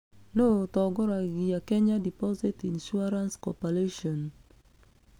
Nũũ ũtongoragia Kenya Deposit Insurance Corporation?